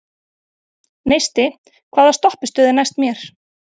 Neisti, hvaða stoppistöð er næst mér?